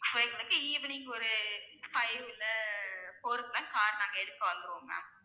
evening ஒரு five இல்ல four க்குலாம் car நாங்க எடுக்க வந்துடுவோம் ma'am